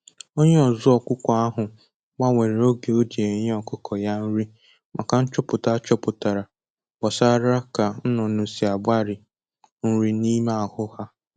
Onye ọzụ ọkụkọ ahụ gbanwere oge o ji enye ọkụkọ ya nri maka nchọpụta a chọpụtara gbasara ka ṅnụnụ si agbari nri n'ime ahụ ha